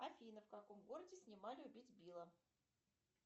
афина в каком городе снимали убить билла